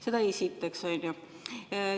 Seda esiteks.